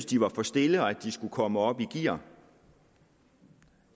de var for stille og at de skulle komme op i gear